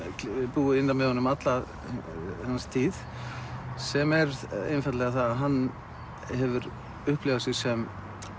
búið innra með honum alla hans tíð sem er einfaldlega það að hann hefur upplifað sig sem